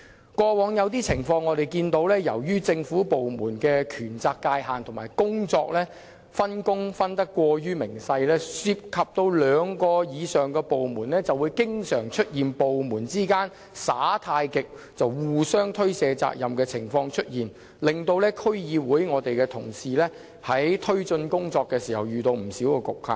以往曾出現一些情況，由於政府部門的權責界限及分工過於仔細，涉及兩個以上部門，就會經常出現部門間"耍太極"、互相推卸的情況，令區議會同事在推進工作遇到不少局限。